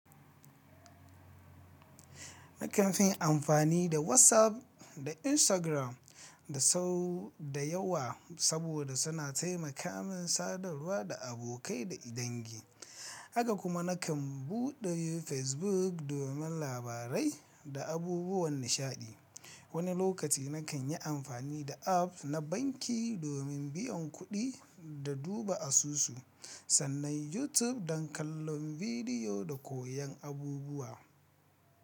Nakan fin amfani da WhatsApp da Instagram da sau da yawa saboda suna taimaka min sadarwa da abokai da idanngi. Haka kuma nakan buɗe Facebook domin labarai da abubuwan nishaɗi. Wani lokaci nakan yi amfani da app na banki domin biyan kuɗi da duba asusu, sannan YouTube don kallon bidiyo da koyon abubuwa.